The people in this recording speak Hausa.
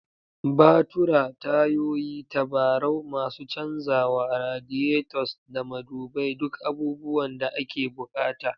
Batura, tayoyi, tabarau, masu canzawa, radiators, da madubai duk abubuwan da ake bukata.